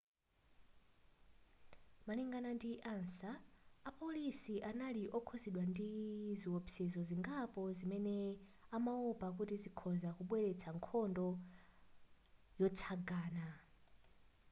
malingana ndi ansa apolisi anali okhudzidwa ndi ziwopsezo zingapo zimene amawopa kuti zikhoza kubweretsa nkhondo zotsagana